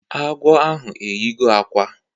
Agwọ ahụ eyigo akwa